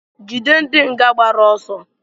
Jidenu ndị nga gbara ọsọ!